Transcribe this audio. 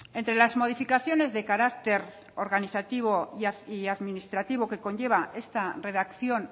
entre las modificaciones de carácter organizativo y administrativo que conlleva esta redacción